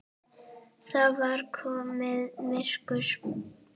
Það var komið myrkur.